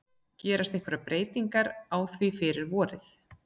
Gerast einhverjar breytingar á því fyrir vorið?